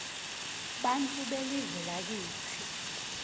bantfu belive lakitsi